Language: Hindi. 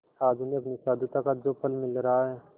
आज उन्हें अपनी साधुता का जो फल मिल रहा है